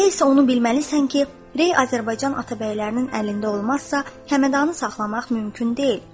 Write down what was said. Elə isə onu bilməlisən ki, Rey Azərbaycan Atabəylərinin əlində olmazsa, Həmədanı saxlamaq mümkün deyil.